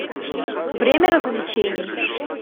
время развлечений